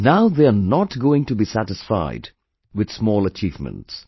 Now they are not going to be satisfied with small achievements